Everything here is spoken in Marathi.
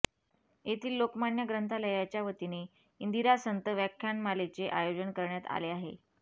येथील लोकमान्य ग्रंथालयाच्यावतीने इंदिरा संत व्याख्यानमालेचे आयोजन करण्यात आले आहे